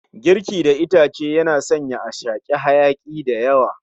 Girki da itace yana sanya a shaki hayaki dayawa